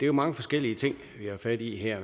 jo mange forskellige ting vi har fat i her